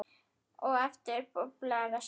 Og aftur doblaði vestur.